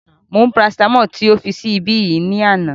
Mo mú parasitamọ́ọ̀lì tí o fi sí ibí yìí ní àná